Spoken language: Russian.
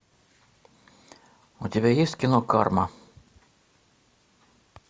у тебя есть кино карма